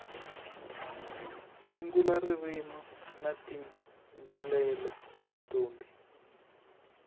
sungula risimu nitayimbelela ntombi